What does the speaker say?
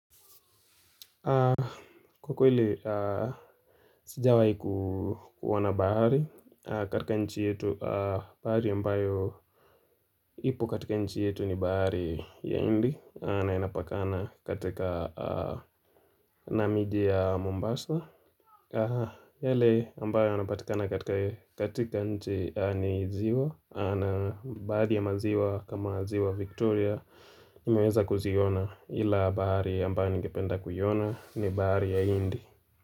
Kwa kweli, sijawai kuona bahari katika nchi yetu bari yambayo ipo katika nchi yetu ni bari ya indi na inapakana katika namidi ya Mombasa Hele ambayo anapatikana katika nchi ni ziwa na bari ya maziwa kama ziwa Victoria imeweza kuziona ila bari yambayo ngependa kuyona ni bari ya indi.